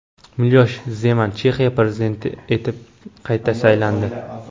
Milosh Zeman Chexiya prezidenti etib qayta saylandi.